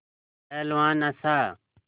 पहलवान हँसा